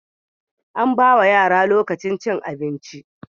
Ana Bawa yara lokacin cin abinci